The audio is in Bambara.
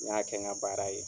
N y'a kɛ n ka baara ye.